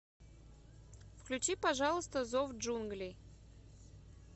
включи пожалуйста зов джунглей